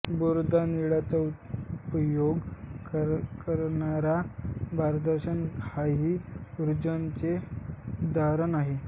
Bourdon नळीचा उपयोग करणारा दाबदर्शक हाही ऊर्जापरिवर्तकाचेच उदाहरण आहे